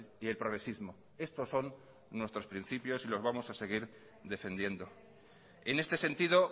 y el progresismo estos son nuestros principios y lo vamos a seguir defendiendo en este sentido